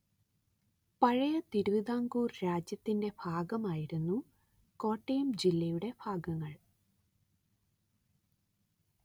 പഴയ തിരുവിതാംകൂര്‍ രാജ്യത്തിന്റെ ഭാഗമായിരുന്നു കോട്ടയം ജില്ലയുടെ ഭാഗങ്ങള്‍